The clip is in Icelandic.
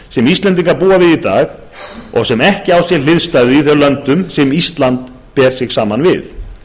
sem íslendingar búa við í dag og sem ekki á sér hliðstæðu í þeim löndum sem ísland ber sig saman við